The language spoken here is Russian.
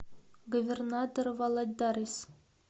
говернадор валадарис